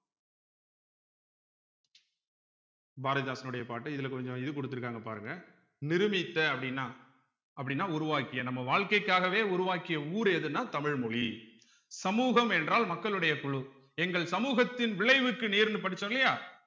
பாரதிதாசனுடைய பாட்டு இதுல கொஞ்சம் இது கொடுத்திருக்காங்க பாருங்க நிருமித்த அப்படின்னா அப்படின்னா உருவாக்கிய நம்ம வாழ்க்கைக்காகவே உருவாக்கிய ஊர் எதுன்னா தமிழ் மொழி சமூகம் என்றால் மக்களுடைய குழு எங்கள் சமூகத்தின் விளைவுக்கு நேர்ன்னு படிச்சோம் இல்லையா